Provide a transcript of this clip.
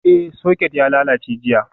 Ee, Socket ya lalace jiya.